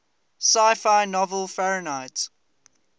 sci fi novel fahrenheit